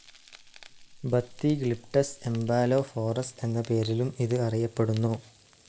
ബത്തിഗ്ലിപ്ടസ് എംബോലോഫോറസ് എന്ന പേരിലും ഇത് അറിയപ്പെ ടുന്നു.